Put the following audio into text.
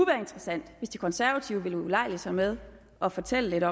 være interessant hvis de konservative vil ulejlige sig med at fortælle